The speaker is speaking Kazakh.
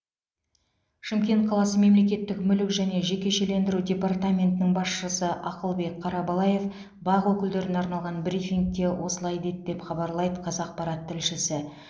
шымкент қаласы мемлекеттік мүлік және жекешелендіру департаментінің басшысы ақылбек қарабалаев бақ өкілдеріне арналған брифингте осылай деді деп хабарлайды қазақпарат тілшісі